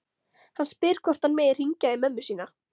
Hann spyr hvort hann megi hringja í mömmu sína.